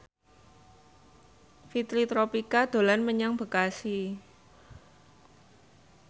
Fitri Tropika dolan menyang Bekasi